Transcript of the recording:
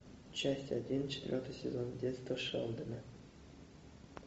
часть один четвертый сезон детство шелдона